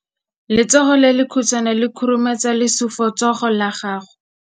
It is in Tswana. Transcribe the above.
Letsogo le lekhutshwane le khurumetsa lesufutsogo la gago.